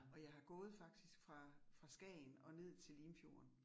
Og jeg har gået faktisk fra fra Skagen og ned til Limfjorden